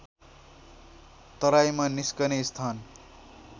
तराईमा निस्कने स्थान